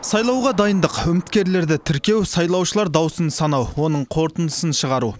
сайлауға дайындық үміткерлерді тіркеу сайлаушылар дауысын санау оның қорытындысын шығару